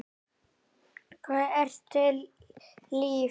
Hvað ertu líf?